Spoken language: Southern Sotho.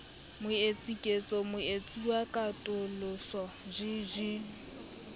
moetsi ketso moetsuwa katoloso jj